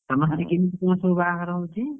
ତମର ସେଠି କେମିତି କଣ ସବୁ ବାହାଘର ହଉଚି?